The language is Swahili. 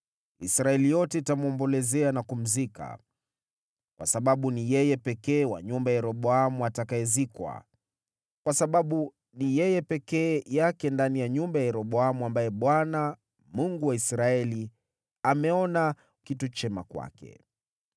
Israeli yote itamwombolezea na kumzika. Kwa sababu ni yeye pekee wa nyumba ya Yeroboamu atakayezikwa, kwa sababu ni yeye peke yake ndani ya nyumba ya Yeroboamu ambaye Bwana , Mungu wa Israeli, ameona kitu chema kwake.